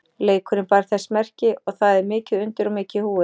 Leikurinn bar þess merki að það er mikið undir og mikið í húfi.